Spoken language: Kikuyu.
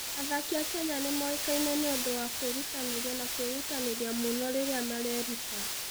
Athaki a Kenya nĩ moĩkaine nĩ ũndũ wa kwĩrutanĩria na kwĩrutanĩria mũno rĩrĩa mareruta.